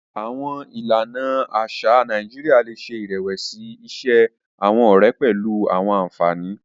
Awọn ìlànà aṣa Nàìjíríà le ṣe irẹwẹsi iṣe awọn ọrẹ pẹlu awọn ànfàní.